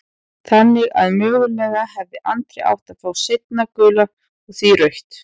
Þannig að mögulega hefði Andri átt að fá seinna gula og því rautt?